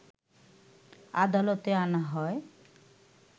আদালতে আনা হয়